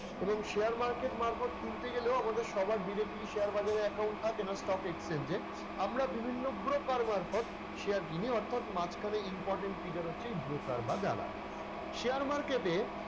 এবং share market মারফত কিনতে গেলেও আমাদের সবার directly share বাজারে account থাকেনা stock exchange এর। আমরা বিভিন্ন broker মারফত শেয়ার কিনি অর্থাৎ মাঝখানে important figure হচ্ছে এই broker বা দালাল share market এ,